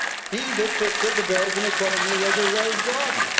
He depicted the Belgian economy as a rose garden.